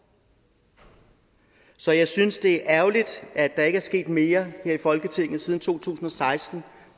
så jeg synes det er ærgerligt at der ikke er sket mere her i folketinget siden to tusind og seksten